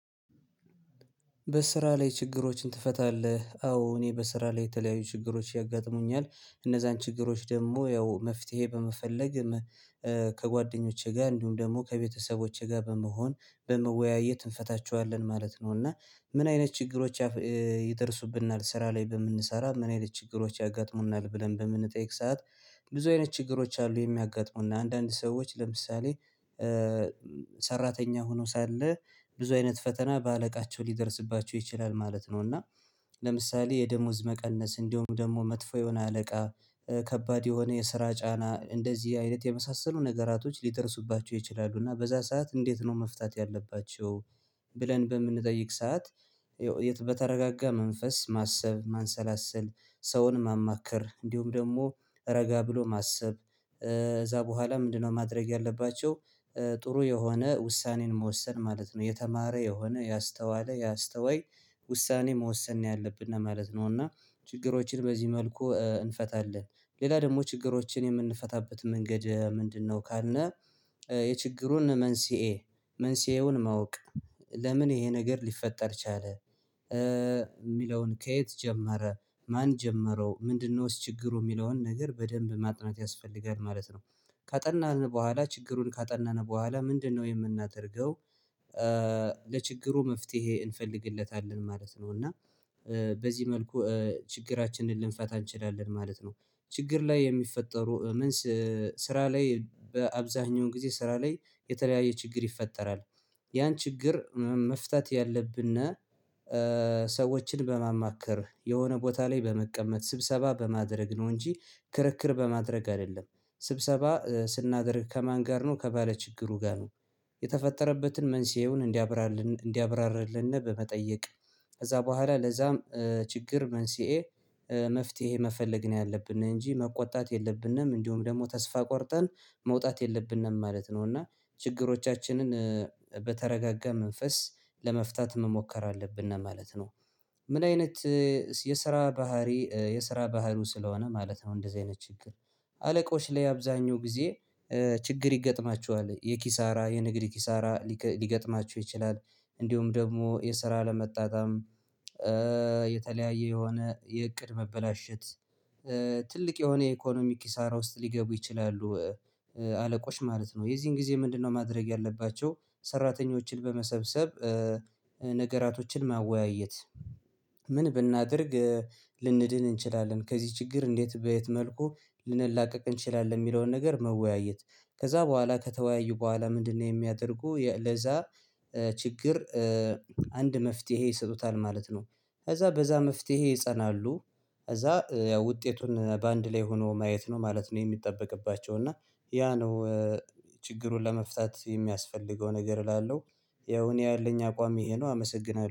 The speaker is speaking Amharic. በስራ ላይ ችግሮችን ትፈታለህ? አዎ እኔ በስራ ላይ የተለያዩ ችግሮች ያጋጥሙኛል እነዛን ችግሮች ደግሞ ያው መፍትሄ በመፈለግ ከጓደኞቼ ጋር እንዲሁም ደግሞ ከቤተሰቦቼ ጋር በመሆን በመወያየት እንፈታቸዋለን ማለት ነው። እና ምን አይነት ችግሮች? የደረሱብናል ስራ ላይ በምንሰራ ምን አይነት ችግሮች ያጋጥሙናል ብለን በምንጠይቅ ሰዓት ብዙ አይነት ችግሮች አሉ የሚያጋጥሙና አንዳንድ ሰዎች ለምሳሌ ሰራተኛ ሆኖ ሳለ ብዙ አይነት ፈተና በአለቃቸው ሊደርስባቸው ይችላል ማለት ነው። እና ለምሳሌ የደሞዝ መቀነስ እንደውም ደግሞ መጥፎ የሆነ አለቃ ከባድ የሆነ የስራ ጫና እንደዚህ አይነት የመሳሰሉ ነገራቶች ሊደረሱባቸው ይችላሉ እና በዛ ሰዓት እንዴት ነው መፍታት ያለባቸው? ብለን በምንጠይቅ ሰዓት የት በተረጋጋ መንፈስ ማሰብ ማንሰላሰል ሰውን ማማከር እንዲሁም ደግሞ ረጋ ብሎ ማሰብ እዛ በኋላ ምንድነው ማድረግ ያለባቸው ጥሩ የሆነ ውሳኔን መወሰን ማለት ነው። የተማረ የሆነ ያስተዋለ ያስተዋይ ውሳኔ መወሰን ነው። ያለብን ነው ማለት ነው። እና ችግሮችን በዚህ መልኩ እንፈታለን ሌላ ደግሞ ችግሮችን የምንፈታበት መንገድ ምንድነው? ካልነ የችግሩን መንስኤ መንስኤውን ማወቅ ለምን ይሄ ነገር ሊፈጠር ቻለ የሚለውን ከየት ጀመረ ማን ጀመረው ምንድነው ችግሩ የሚለውን ነገር በደንብ ማጥናት ያስፈልጋል ማለት ነው። ካጠናን በኋላ ችግሩን ካጠናን በኋላ ምንድነው የምናደርገው? ለችግሩ መፍትሄ እንፈልግለታለን ማለት ነው። እና በዚህ መልኩ ችግራችንን ልንፈታ እንችላለን ማለት ነው። ችግር ላይ የሚፈጠሩ ስራ ላይ በአብዛኛው ጊዜ ስራ ላይ የተለያየ ችግር ይፈጠራል። ያን ችግር መፍታት ያለብና ሰዎችን በማማከር የሆነ ቦታ ላይ በመቀመጥ ስብሰባ በማድረግ ነው እንጂ ክርክር በማድረግ አይደለም። ስብሰባ ስናደርግ ከማን ጋር ነው ከባለችግሩ ጋር ነው። የተፈጠረበትን መንስኤውን እንዲያብራርልን እንዲያብራርልን በመጠየቅ ከዛ በኋላ ለዛም ችግር መንስኤ መፍትሄ መፈለግ ነው። ያለብን እንጂ መቆጣት የለብንም እንዲሁም ደግሞ ተስፋ ቆርጠን መውጣት የለብንም ማለት ነው። እና ችግሮቻችንን በተረጋጋ መንፈስ ለመፍታት መሞከር አለብን ነው ማለት ነው። ምን አይነት የስራ ባህሪ የስራ ባህሩ ስለሆነ ማለት ነው። እንደዚህ አይነት ችግር አለቆች ላይ አብዛኛው ጊዜ ችግር ይገጥማችኋል የኪሳራ የንግድ ኪሳራ ሊገጥማችሁ ይችላል። እንዲሁም ደግሞ የስራ ለመጣጣም የተለያየ የሆነ የእቅድ መበላሸት ትልቅ የሆነ ኢኮኖሚክ ኪሳራ ውስጥ ሊገቡ ይችላሉ። አለቆች ማለት ነው የዚህን ጊዜ ምንድነው? ማድረግ ያለባቸው ሰራተኞችን በመሰብሰብ ነገራቶችን ማወያየት ምን ብናደርግ ልንድን እንችላለን ከዚህ ችግር እንዴት በየት መልኩ ልንላቀቅ እንችላለን የሚለውን ነገር መወያየት። ከዛ በኋላ ከተወያዩ በኋላ ምንድነው? የሚያደርጉ ለዛ ችግር አንድ መፍትሄ ይሰጡታል ማለት ነው። ከዛ በዛ መፍትሄ ይጸናሉ ከዛ ያው ውጤቱን በአንድ ላይ ሆኖ ማየት ነው ማለት ነው። የሚጠበቅባቸው እና ያ ነው ችግሩን ለመፍታት የሚያስፈልገው ነገር እላለሁ። ያው እኔ ያለኝ አቋም ይሄ ነው አመሰግናለሁ